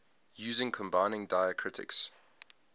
using combining diacritics